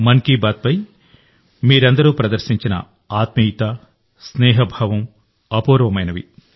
మన్ కీ బాత్పై మీరందరూ ప్రదర్శించిన ఆత్మీయత స్నేహభావం అపూర్వమైనవి